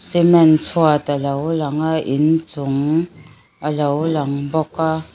cement chhuat a lo lang a in chung a lo lang bawk a.